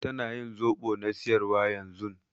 Tana ƴin zobo na siƴarwa ƴanzun.